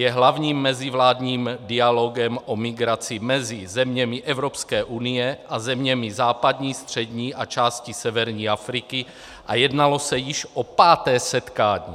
Je hlavním mezivládním dialogem o migraci mezi zeměmi Evropské unie a zeměmi západní, střední a části severní Afriky a jednalo se již o páté setkání.